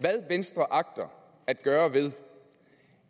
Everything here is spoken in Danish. hvad venstre agter at gøre ved